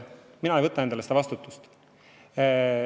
Mina ei võta endale seda vastutust.